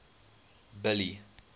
billy